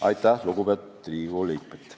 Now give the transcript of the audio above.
" Aitäh, lugupeetud Riigikogu liikmed!